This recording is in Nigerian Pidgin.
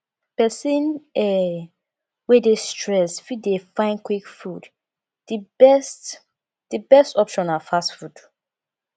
person um wey dey stressed fit dey find quick food di best di best option na fast food